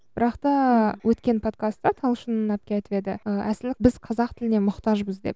бірақ та өткен подкаста талшын әпке айтып еді і әсілі біз қазақ тіліне мұқтажбыз деп